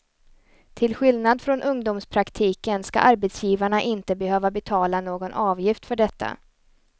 Till skillnad från ungdomspraktiken ska arbetsgivarna inte behöva betala någon avgift för detta.